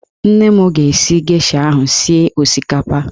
Nwanne m ga-esi gesha ahụ sie osikapa